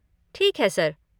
ठीक है सर।